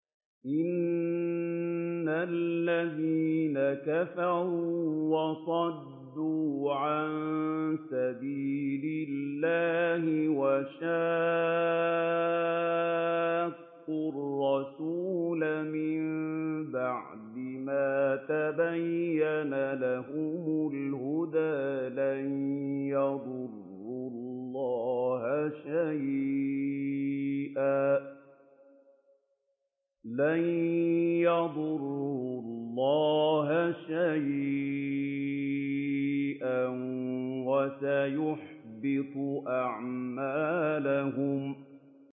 إِنَّ الَّذِينَ كَفَرُوا وَصَدُّوا عَن سَبِيلِ اللَّهِ وَشَاقُّوا الرَّسُولَ مِن بَعْدِ مَا تَبَيَّنَ لَهُمُ الْهُدَىٰ لَن يَضُرُّوا اللَّهَ شَيْئًا وَسَيُحْبِطُ أَعْمَالَهُمْ